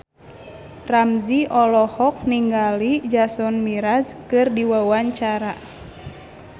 Ramzy olohok ningali Jason Mraz keur diwawancara